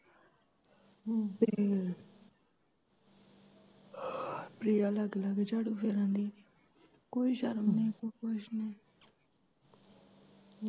ਪ੍ਰਿਆ ਤੇ ਪ੍ਰਿਆ ਲਾਗੇ ਲਾਗੇ ਝਾੜੂ ਫੇਰਨ ਦੀ, ਕੋਈ ਸ਼ਰਮ ਨੀ ਕੋਈ ਕੁੱਝ ਨੀ।